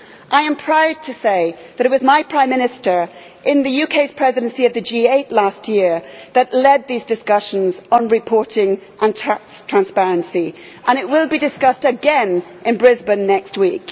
I am proud to say that it was my Prime Minister during the UKʼs Presidency of the G8 last year who led these discussions on reporting and tax transparency, and it will be discussed again in Brisbane next week.